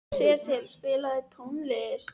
Sesil, spilaðu tónlist.